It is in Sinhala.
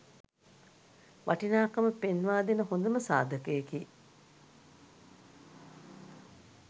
වටිනාකම පෙන්වා දෙන හොඳම සාධකයකි.